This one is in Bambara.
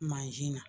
Mansin na